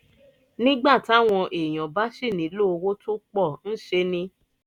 nígbà táwọn èèyàn bá sì nílò owó tó pọ̀ ńṣe ni